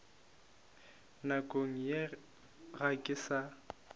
nakong ye ga ke sa